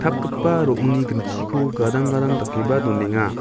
ro·ongni ginchiko gadang gadang dakeba donenga.